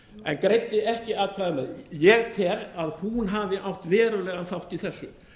en greiddi ekki atkvæði með ég tel að hún hafi átt verulegan þátt í þessu